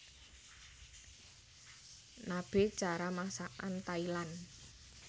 Nabe cara masakan Thailand